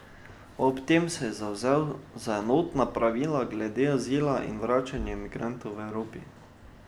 Ob tem se je zavzel za enotna pravila glede azila in vračanja migrantov v Evropi.